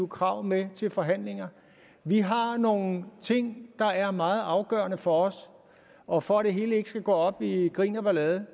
krav med til forhandlinger vi har nogle ting der er meget afgørende for os og for at det hele ikke skal gå op i grin og ballade